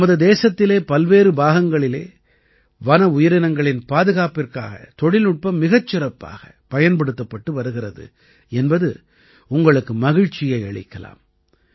நமது தேசத்திலே பல்வேறு பாகங்களிலே வன உயிரினங்களின் பாதுகாப்பிற்காக தொழில்நுட்பம் மிகச் சிறப்பாகப் பயன்படுத்தப்பட்டு வருகிறது என்பது உங்களுக்கு மகிழ்ச்சியை அளிக்கலாம்